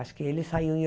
Acho que ele saiu em